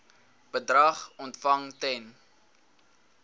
bedrag ontvang ten